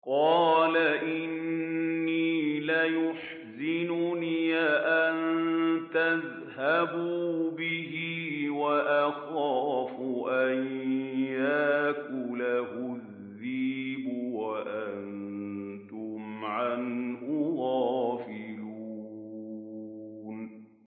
قَالَ إِنِّي لَيَحْزُنُنِي أَن تَذْهَبُوا بِهِ وَأَخَافُ أَن يَأْكُلَهُ الذِّئْبُ وَأَنتُمْ عَنْهُ غَافِلُونَ